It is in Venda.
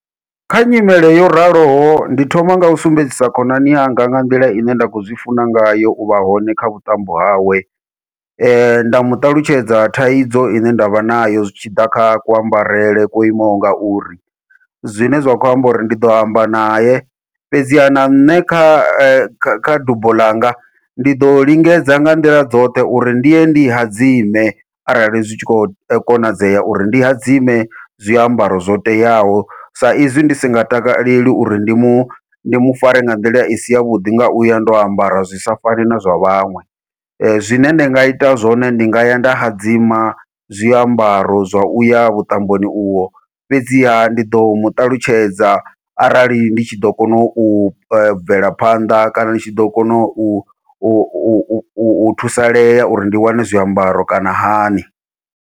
Kha nyimele yo raloho ndi thoma ngau sumbedzisa khonani yanga nga nḓila ine nda kho zwi funa ngayo uvha hone kha vhuṱambo hawe, nda muṱalutshedza thaidzo ine ndavha nayo zwitshiḓa kha kuambarele kwo imaho ngauri, zwine zwa khou amba uri ndi ḓo amba naye fhedziha na nṋe kha dubo ḽanga ndi ḓo lingedza nga nḓila dzoṱhe uri ndi ye ndi hadzime arali zwi tshi kho konadzea uri ndi hadzime zwiambaro zwo teaho, sa izwi ndi si nga takaleli uri ndi mu ndi mu fare nga nḓila isi yavhuḓi nga uya ndo ambara zwi sa fani na zwa vhaṅwe. Zwine nda nga ita zwone ndi nga ya nda hadzima zwiambaro zwa uya vhuṱamboni uvho, fhedziha ndi ḓo muṱalutshedza arali ndi tshi ḓo kona u bvela phanḓa kana ndi tshi ḓo kona u thusalea uri ndi wane zwiambaro kana hani.